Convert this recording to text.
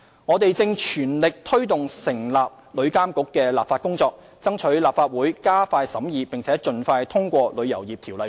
我們正全力推動成立旅遊業監管局的立法工作，爭取立法會加快審議並盡快通過《旅遊業條例草案》。